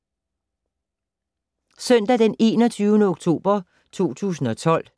Søndag d. 21. oktober 2012